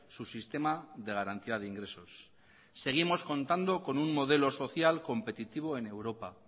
su sistema de garantía de ingresos seguimos contando con un modelo social competitivo en europa